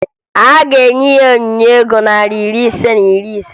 A ga-enye ya onyinye ego narị ise na iri ise